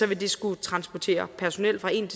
vil skulle transportere personel fra en